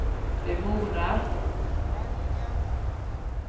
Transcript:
demoner